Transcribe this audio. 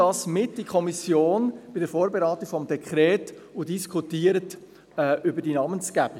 «Nehmen Sie dies bei der Vorberatung des Dekrets mit in die Kommission und diskutieren Sie über die Namensgebung.